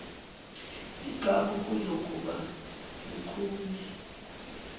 igagu kuzokuba lukhuni